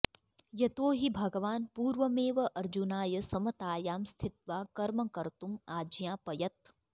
यतो हि भगवान् पूर्वमेव अर्जुनाय समतायां स्थित्वा कर्म कर्तुम् आज्ञापयत्